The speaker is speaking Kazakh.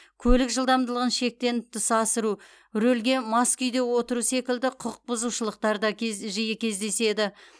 көлік жылдамдығын шектен тыс асыру рөлге мас күйде отыру секілді құқық бұзушылықтар да кез жиі кездеседі